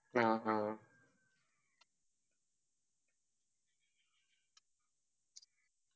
അ ആ